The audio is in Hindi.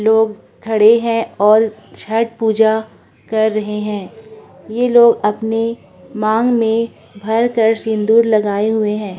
लोग खड़े हैं और छठ पूजा कर रहे हैं ये लोग अपनी मांग में भर कर सिंदूर लगाए हुए हैं।